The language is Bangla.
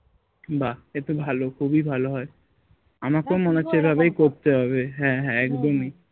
বাহ এতো ভালো খুবই ভালো হয় করতে হবে হ্যাঁ হ্যাঁ